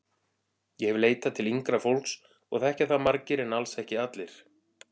Ég hef leitað til yngra fólks og þekkja það margir en alls ekki allir.